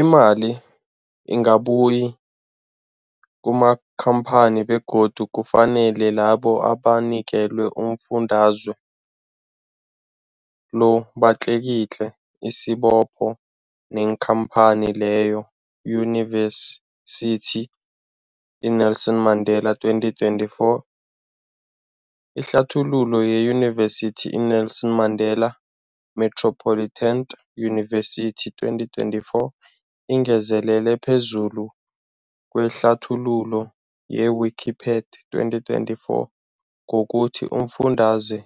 Imali ingabuyi kumakhamphani begodu kufanele labo abanikelwa umfundaze lo batlikitliki isibopho neenkhamphani leyo, Yunivesity i-Nelson Mandela 2024. Ihlathululo yeYunivesithi i-Nelson Mandela Metropolitan University, 2024, ingezelele phezulu kwehlathululo ye-Wikipedia 2024, ngokuthi umfundaze